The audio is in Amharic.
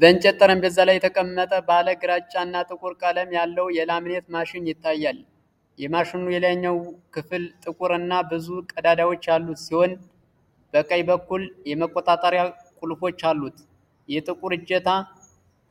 በእንጨት ጠረጴዛ ላይ የተቀመጠ ባለ ግራጫ እና ጥቁር ቀለም ያለው የላምኔት ማሽን ይታያል። የማሽኑ የላይኛው ክፍል ጥቁር እና ብዙ ቀዳዳዎች ያሉት ሲሆን፣ በቀኝ በኩል መቆጣጠሪያ ቁልፎች አሉት። የጥቁር እጀታ